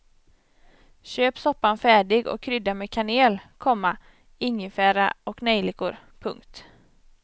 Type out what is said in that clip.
Köp soppan färdig och krydda med kanel, komma ingefära och nejlikor. punkt